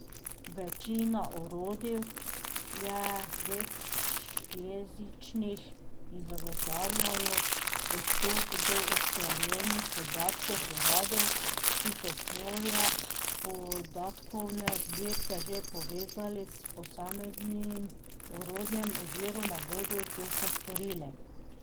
Večina orodij je večjezičnih in zagotavljajo dostop do usklajenih podatkov uradov, ki so svoje podatkovne zbirke že povezali s posameznim orodjem oziroma bodo to še storili.